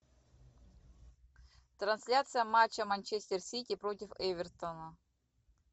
трансляция матча манчестер сити против эвертона